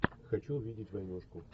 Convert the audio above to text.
хочу увидеть войнушку